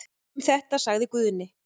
Um þetta sagði Guðni.